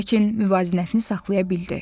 Lakin müvazinətini saxlaya bildi.